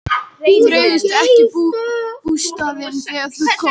Þreifstu ekki bústaðinn þegar þú komst?